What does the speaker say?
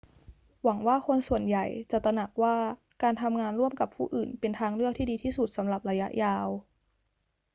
หวังว่าคนส่วนใหญ่จะตระหนักว่า การทำงานร่วมกับผู้อื่นเป็นทางเลือกที่ดีที่สุดสำหรับระยะยาว